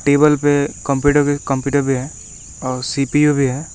Table पे computer computer computer भी है और सी_पी_यू भी है।